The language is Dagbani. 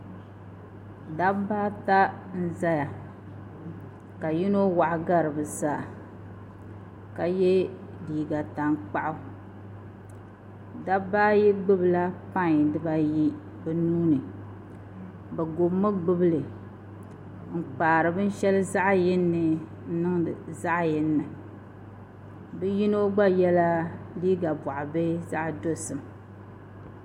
Dabba ata n-zaya kavyini waɣa gari bɛ zaa dabba ayi gbubila pan bɛ nuuni bɛ gubimi gbubi li n-kpaari binshɛli zaɣ' yini ni niŋdi binshɛli zaɣ' yini ni bɛ yino gba yɛla liiga bɔɣ' bihi zaɣ' dɔzim